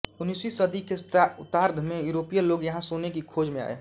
उन्नीसवीं सदी के उत्तरार्द्ध में यूरोपीय लोग यहां सोने की खोज में आए